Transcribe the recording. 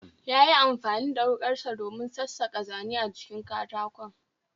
Yayi amfani da wukarsa domin sassaka Zane a jikin katakon